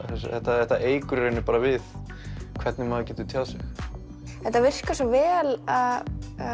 þetta þetta eykur í rauninni bara við hvernig maður getur tjáð sig þetta virkar svo vel að